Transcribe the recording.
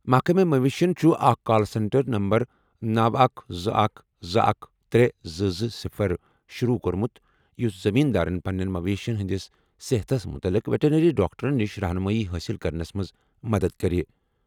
محکمہٕ مویشین چھُ اکھ کال سینٹر نمبر 9121213220 شروع کوٚرمُت یُس زٔمیٖن دارَن پننٮ۪ن مویشین ہٕنٛدِس صحتَس مُتعلِق ویٹرنری ڈاکٹرَن نِش رہنُمٲیی حٲصِل کرنس منٛز مدد کرِ۔